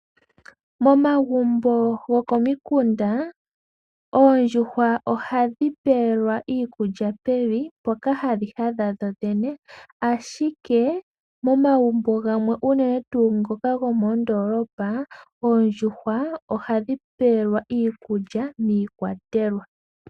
Momagumbo gamwe gomomikunda oondjuhwa ohadhi pewa iikulya pevi mpoka hadhi hadhi hadha dhodhene, ihe momagumbo gamwe unene tuu gomoondolopa ohadhi pelwa miikwatelwa.